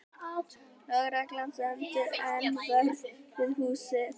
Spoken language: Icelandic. Lögreglan stendur enn vörð við húsið